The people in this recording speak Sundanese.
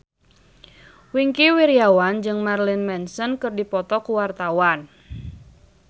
Wingky Wiryawan jeung Marilyn Manson keur dipoto ku wartawan